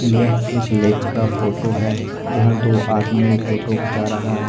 यह एक लेक का फोटो है यहां दो आदमी फोटो खींचा रहा है।